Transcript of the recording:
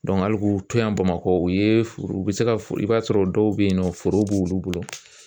hali k'u to yan Bamakɔ u ye furu u be se ka i b'a sɔrɔ dɔw be yen nɔ foro b'olu bolo